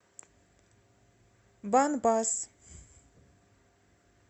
бан бас